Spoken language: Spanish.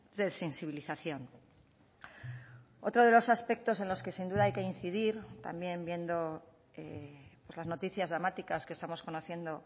de sensibilización otro de los aspectos en los que sin duda hay que incidir también viendo las noticias dramáticas que estamos conociendo